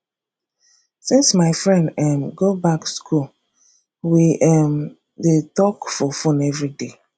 since my friend um go back skool we um dey talk for fone everyday